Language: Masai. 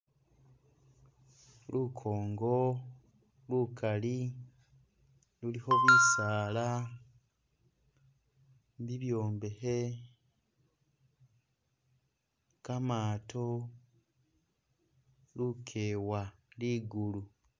Lukongo lukali lulikho bisaala, bibyombehe, kamaato, lukewa, ligulu